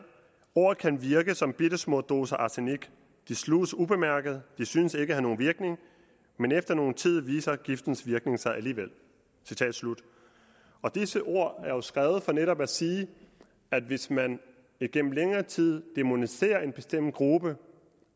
ord kan virke som bittesmå doser arsenik de sluges ubemærket de synes ikke at have nogen virkning men efter nogen tid viser giftens virkning sig alligevel citat slut disse ord er jo skrevet for netop at sige at hvis man igennem længere tid dæmoniserer en bestemt gruppe